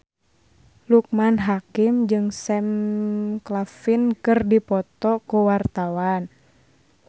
Loekman Hakim jeung Sam Claflin keur dipoto ku wartawan